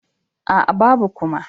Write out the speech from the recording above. Aa, babu kuma.